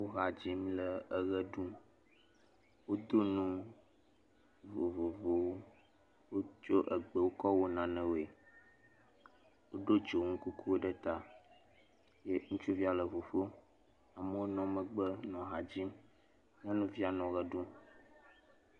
Wo ha dzi le eʋe ɖum, wodonu vovovowowotsɔ egbewo kɔ wɔ nanewoe, wodo dzonu kukuwo ɖe ta, ŋutsuvia le ŋuƒom amewo le emegbe le ha dzi nyɔnuvia le emegbe.